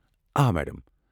آ، میڈم۔